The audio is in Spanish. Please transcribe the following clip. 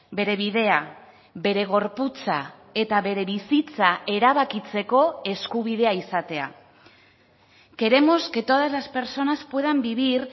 bere bidea bere gorputza eta bere bizitza erabakitzeko eskubidea izatea queremos que todas las personas puedan vivir